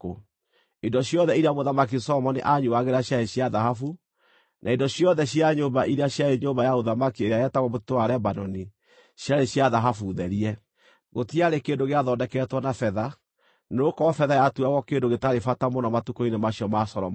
Indo ciothe iria Mũthamaki Solomoni aanyuuagĩra ciarĩ cia thahabu, na indo ciothe cia nyũmba iria ciarĩ Nyũmba ya Ũthamaki ĩrĩa yetagwo Mũtitũ wa Lebanoni ciarĩ cia thahabu therie. Gũtiarĩ kĩndũ gĩathondeketwo na betha, nĩgũkorwo betha yatuagwo kĩndũ gĩtarĩ bata mũno matukũ-inĩ macio ma Solomoni.